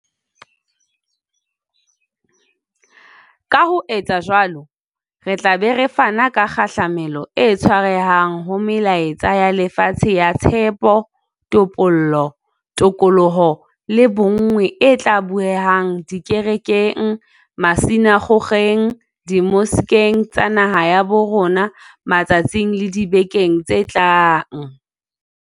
Ka ho etsa jwalo, re tla be re fana ka kgahlamelo e tshwarehang ho melaetsa ya lefatshe ya tshepo, topollo, tokoloho le bonngwe e tla bueha dikerekeng, masina kgokgeng, dimoskeng tsa naha ya bo rona matsatsing le dibekeng tse tlang.